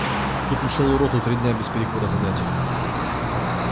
тут на целую роту три дня без перекура занятий